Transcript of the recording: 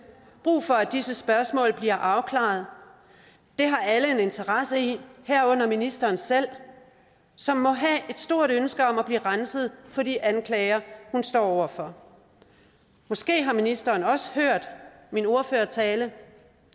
brug for at disse spørgsmål bliver afklaret det har alle en interesse i herunder ministeren selv som må have et stort ønske om at blive renset for de anklager hun står over for måske har ministeren også hørt min ordførertale